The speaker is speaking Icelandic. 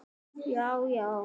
Þín, Karen Ósk.